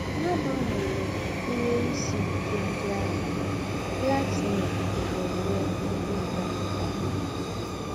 N’àgbanwérè ìhè ìsì íké ńdị àhụ̀, Laxmi na - ènwé ìhè ị́gá nke ọ́má.